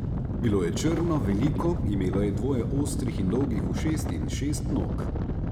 Bilo je črno, veliko, imelo je dvoje ostrih in dolgih ušes in šest nog.